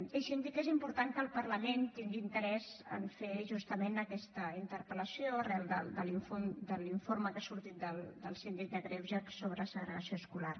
deixi’m dir que és important que el parlament tingui interès a fer justament aquesta interpel·lació arran de l’informe que ha sortit del síndic de greuges sobre segregació escolar